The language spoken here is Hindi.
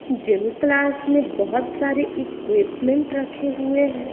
जिम क्लास में बहुत सारे इक्विपमेंट रखे हुए हैं।